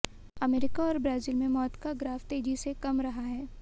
अमरीका और ब्राज़ील में मौत का ग्राफ़ तेज़ी से कम रहा है